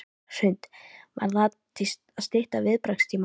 Hrund: Var það til að stytta viðbragðstíma?